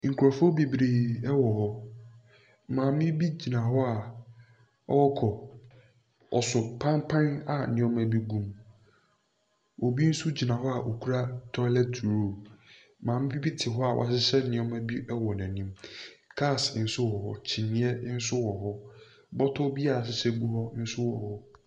Nkurɔfoɔ bebree wɔ hɔ. Maamee bi gyina hɔ a ɔrekɔ. Ɔso pampan a nneɛma bi gum. Obi nso gyina hɔ a ɔkura toilet roll. Maame bi te hɔ a wahyehyɛ nneɛma bi wɔ n'anim. Cars nso wɔ hɔ, kyiniiɛ nso wɔ hɔ. Bɔtɔ bi a wɔahyehyɛ gu hɔ nso wɔ hɔ.